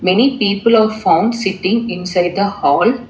Many people are found sitting inside the hall.